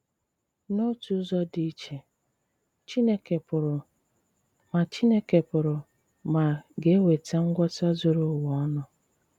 N’òtù ụzọ dị iche, Chìnékè pụrụ ma Chìnékè pụrụ ma ga-ewetà ngwọta zùrù ùwa ònù.